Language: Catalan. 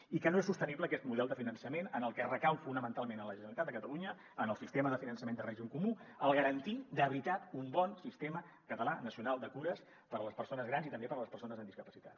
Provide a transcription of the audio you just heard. i que no és sostenible amb aquest model de finançament que recau fonamentalment en la generalitat de catalunya en el sistema de finançament de règim comú el garantir de veritat un bon sistema català nacional de cures per a les persones grans i també per a les persones amb discapacitat